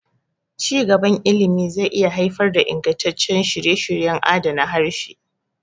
Ci gaban ilimi zai iya haifar da ingantaccen shirye-shiryen adana harshe.